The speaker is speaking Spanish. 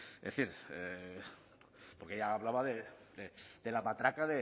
es decir porque ella hablaba de la matraca